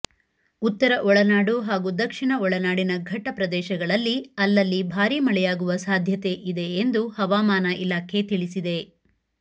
ಉತ್ತರ ಒಳನಾಡು ಹಾಗೂ ದಕ್ಷಿಣ ಒಳನಾಡಿನ ಘಟ್ಟಪ್ರದೇಶಗಳಲ್ಲಿ ಅಲ್ಲಲ್ಲಿ ಭಾರೀ ಮಳೆಯಾಗುವ ಸಾಧ್ಯತೆ ಇದೆ ಎಂದು ಹವಾಮಾನ ಇಲಾಖೆ ತಿಳಿಸಿದೆ